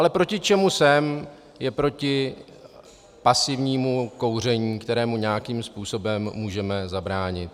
Ale proti čemu jsem, je proti pasivnímu kouření, kterému nějakým způsobem můžeme zabránit.